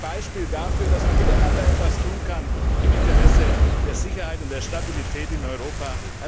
Es ist ein Beispiel dafür, dass man miteinander etwas tun kann im Interesse der Sicherheit und der Stabilität in Europa.